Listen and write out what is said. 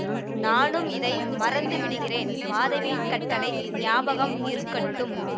நானும் இதை மறந்து விடுகிறேன் மாதாவியின் கட்டளை ஞாபகம் இருக்கட்டும்